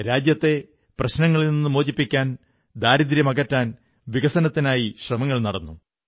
രാജ്യത്തെ പ്രശ്നങ്ങളിൽ നിന്നു മോചിപ്പിക്കാൻ ദാരിദ്ര്യം അകറ്റാൻ വികസനത്തിനായി ശ്രമങ്ങൾ നടന്നു